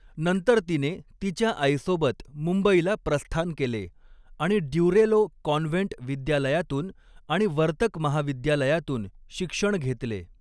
नंतर तिने तिच्या आईसोबत मुंबईला प्रस्थान केले आणि ड्युरेलो कॉन्व्हेंट विद्यालयातून आणि वर्तक महाविद्यालयातून शिक्षण घेतले.